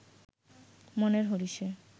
মনের হরিষে